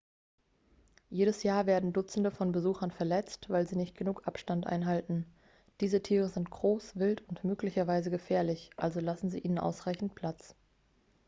jedes jahr werden dutzende von besuchern verletzt weil sie nicht genug abstand einhalten diese tiere sind groß wild und möglicherweise gefährlich also lassen sie ihnen ausreichend platz